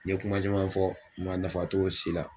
Ni ye kuma caman fɔ, ma nafa to si la.